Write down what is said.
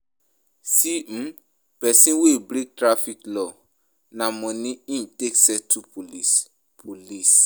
See um pesin wey break traffic law, na moni im take settle police police.